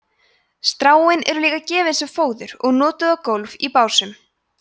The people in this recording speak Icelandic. stráin eru líka gefin sem fóður og notuð á gólf í básum